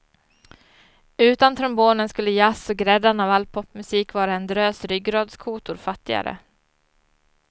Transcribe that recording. Utan trombonen skulle jazz och gräddan av all popmusik vara en drös ryggradskotor fattigare.